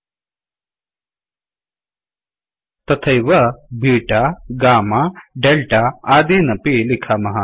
तथैव beta gamma delta आदीन् अपि लिखामः